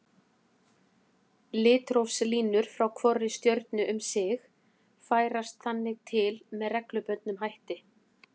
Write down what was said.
Litrófslínur frá hvorri stjörnu um sig færast þannig til með reglubundnum hætti.